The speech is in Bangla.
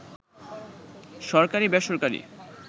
সরকারি-বেসরকারি